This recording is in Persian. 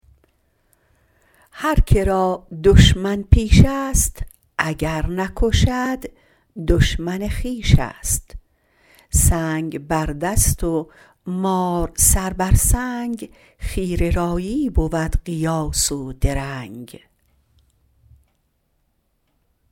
هر که را دشمن پیش است اگر نکشد دشمن خویش است سنگ بر دست و مار سر بر سنگ خیره رایی بود قیاس و درنگ